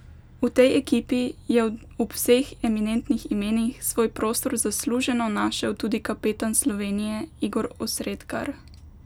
V tej ekipi je ob vseh eminentnih imenih svoj prostor zasluženo našel tudi kapetan Slovenije Igor Osredkar!